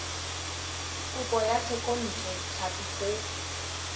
kopo ya thekontle tlhapi go